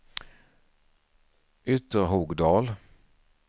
Ytterhogdal